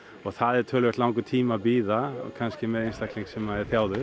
það er töluvert langur tími að bíða kannski með einstakling sem er